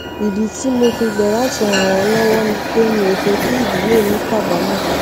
ìdí tí mo fi gbà láti ràn wón lówó ni pé mi ò fé kí ìdílé mi kábàámò